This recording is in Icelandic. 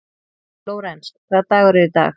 Lórens, hvaða dagur er í dag?